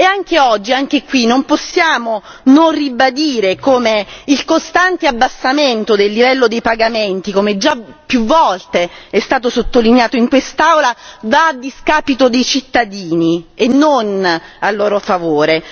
Anche oggi, anche qui, non possiamo non ribadire come il costante abbassamento del livello dei pagamenti, come già più volte è stato sottolineato in quest'Aula, vada a discapito dei cittadini e non a loro favore.